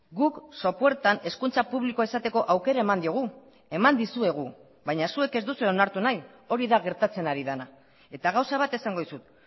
guk sopuertan hezkuntza publikoa izateko aukera eman diogu eman dizuegu baina zuek ez duzue onartu nahi hori da gertatzen ari dena eta gauza bat esango dizut